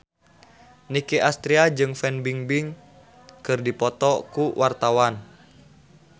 Nicky Astria jeung Fan Bingbing keur dipoto ku wartawan